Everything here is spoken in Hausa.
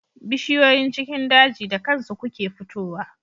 Bishiyoyin cikin daji da kansu kuke fito wa